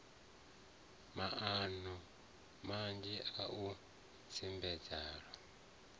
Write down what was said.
maano manzhi a u tsimbela